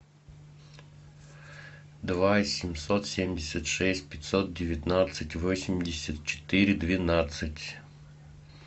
два семьсот семьдесят шесть пятьсот девятнадцать восемьдесят четыре двенадцать